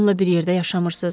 Onunla bir yerdə yaşamırsız?